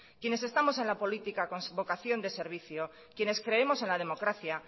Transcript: quienes estamos en la política con vocación de servicio quienes creemos en la democracia